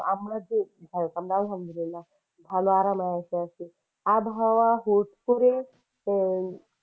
আমরা যে আমরা আল্লাহমদুলিলা ভালো আরামে আছি । আবহাওয়া হুট করে আহ